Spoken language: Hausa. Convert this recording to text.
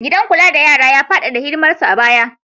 Gidan kula da yara ya faɗaɗa hidimarsa a baya